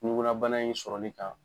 ɲukunnabana in sɔrɔɔ li kan